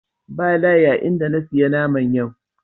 Ba layi a in da na siya naman.